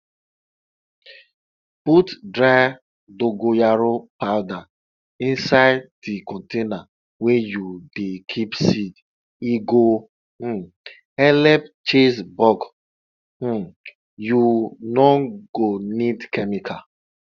put dry dogoyaro powder insai di container wey you dey keep seed e go um helep chase bug um you no go need chemical